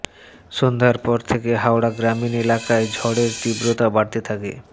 সন্ধ্যার পর থেকে হাওড়া গ্রামীণ এলাকায় ঝড়ের তীব্রতা বাড়তে থাকে